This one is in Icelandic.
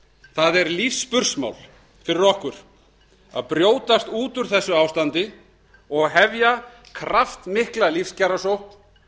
það er lífsspursmál fyrir okkur að brjótast út úr þessu ástandi og hefja kraftmikla lífskjarasókn